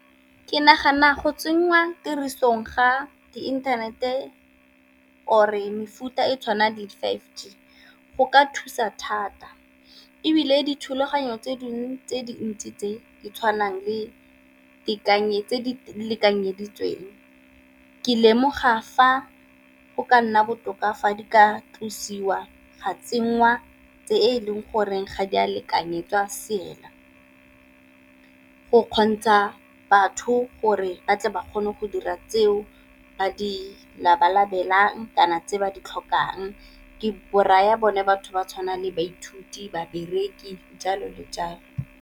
Ke nagana go tse nngwa tirisong ga di inthanete or-e mefuta e tshwanang le five G go ka thusa thata, ebile dithulaganyo tse dingwe tse dintsi tse di tshwanang tse di lekanyeditsweng ke lemoga fa go ka nna botoka fa di ka tlosiwa ga tsenngwa tse e leng goreng ga di a lekanyetswa , go kgontsha batho gore ba tle ba kgone go dira tseo ba di labalabelang kana tse ba di tlhokang. Ke raya bone batho ba tshwana le baithuti, babereki jalo le jalo.